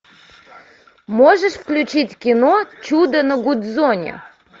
можешь включить кино чудо на гудзоне